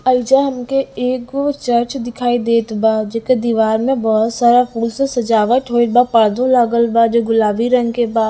एइजा हमके एगो चर्च दिखाई देत बा जेकर दीवार में बहुत सारा फूल से सजावट होइल बा पर्दो लागल बा जे गुलाबी रंग के बा--